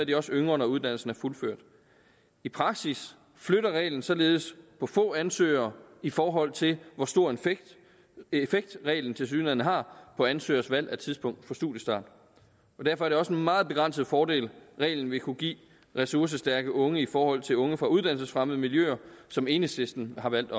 de også yngre når uddannelsen er fuldført i praksis flytter reglen således på få ansøgere i forhold til hvor stor en effekt reglen tilsyneladende har på ansøgeres valg af tidspunkt for studiestart derfor er det også en meget begrænset fordel reglen vil kunne give ressourcestærke unge i forhold til unge fra uddannelsesfremmede miljøer som enhedslisten har valgt